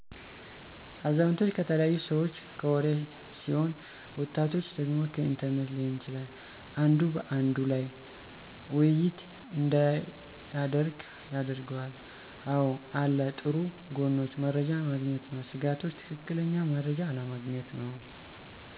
አዛውቶች ከተለያዩ ሰዎች ከወሪ ሲሆን ወጣቶች ደግሞ ከኢንተርኔት ሊሆን ይችላል። አንዱ በአንዱ ላይ ወይይት እዳያደረግ ያደረገዋል። አወ አለ ጥሩ ጎኖች መረጃ ማግኘት ነው። ስጋቶች ትክክለኛ መረጃ አለማግኘት ነው።